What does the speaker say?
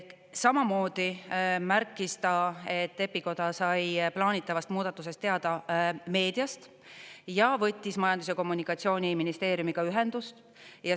Samamoodi märkis ta, et EPI Koda sai plaanitavast muudatusest teada meediast ja võttis Majandus- ja Kommunikatsiooniministeeriumiga ühendust.